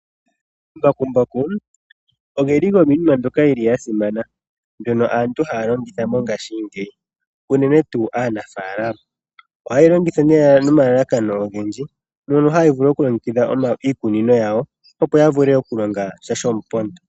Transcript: Omambakumbaku ogasimana noonkondo oshoka aantu ohaye galongitha mongaashi ngeyi uunene tuu aanafalama. Omambakumbaku aanafalama ohayega longitha nomalalakano ogendji mono halivulu okulongekidha iikunino yawo opo yavule okulongasha shomupondo.